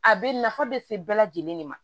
A bɛ nafa be se bɛɛ lajɛlen de ma